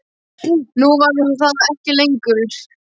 Nú var hún það ekki lengur.